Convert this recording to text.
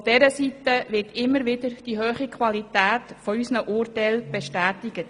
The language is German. Von dieser Seite wird immer wieder die hohe Qualität unserer Urteile bestätigt.